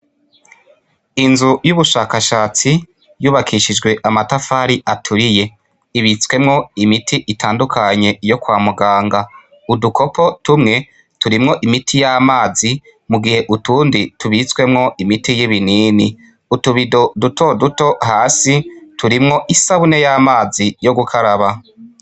Inzu y'ubushakashatsi yubakishijwe amatafari aturiye ibitswemwo imiti itandukanye iyo kwa muganga udukopo tumwe turimwo imiti y'amazi mu gihe utundi tubitswemwo imiti y'ibi nini utubido duto duto hasi turimwo isabune yo amazi yo gukaraba.